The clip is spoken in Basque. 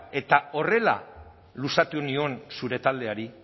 eta horrela luzatu nion zure taldeari